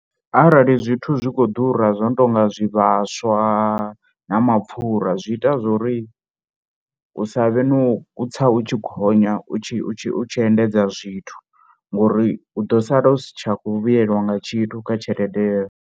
Arali zwithu zwi khou ḓura zwo no tou nga zwivhaswa na mapfhura zwi ita zwo ri hu sa vhe no u tsa u tshi gonya u tshi tshi endedza zwithu ngori u ḓo sala u si tsha khou vhuyelwa nga tshithu kha tshelede yeyo.